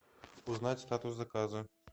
узнать статус заказа